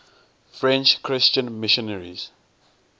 french christian missionaries